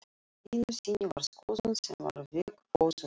Einu sinni var skoðun sem var veggfóður.